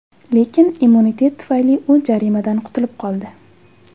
Lekin immunitet tufayli u jarimadan qutilib qoldi.